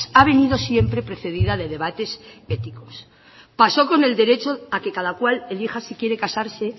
ha venido siempre precedida de debates éticos pasó con el derecho a que cada cual elija si quiere casarse